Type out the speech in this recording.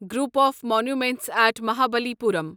group of monuments at Mahabalipuram